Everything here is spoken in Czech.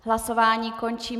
Hlasování končím.